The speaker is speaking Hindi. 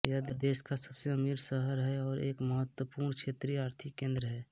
यह देश का सबसे अमीर शहर और एक महत्वपूर्ण क्षेत्रीय आर्थिक केन्द्र है